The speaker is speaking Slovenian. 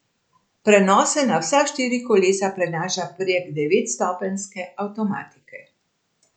Prenos se na vsa štiri kolesa prenaša prek devetstopenjske avtomatike.